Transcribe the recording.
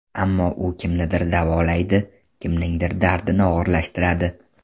Ammo u kimnidir davolaydi, kimningdir dardini og‘irlashtiradi.